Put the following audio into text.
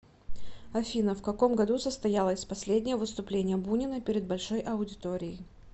афина в каком году состоялось последнее выступление бунина перед большой аудиторией